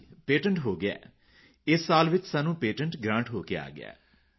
ਹਾਂ ਜੀ ਪੇਟੈਂਟ ਹੋ ਗਿਆ ਇਸ ਸਾਲ ਵਿੱਚ ਸਾਨੂੰ ਪੇਟੈਂਟ ਗ੍ਰਾਂਟ ਹੋ ਕੇ ਆ ਗਿਆ